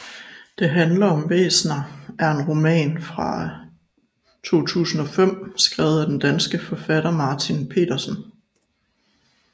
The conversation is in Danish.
Det handler om væsner er en roman fra 2005 skrevet af den danske forfatter Martin Petersen